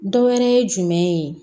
Dɔ wɛrɛ ye jumɛn ye